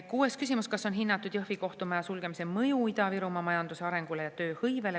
Kuues küsimus: "Kas on hinnatud Jõhvi kohtumaja sulgemise mõju Ida-Virumaa majandusarengule ja tööhõivele?